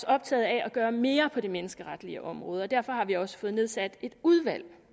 optaget af at gøre mere på det menneskeretlige område og derfor har vi også fået nedsat et udvalg